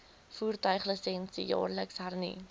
voertuiglisensie jaarliks hernu